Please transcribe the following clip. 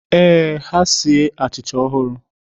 Ee, ha sie achịcha ọhụrụ